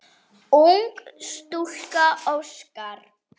Ung stúlka óskar.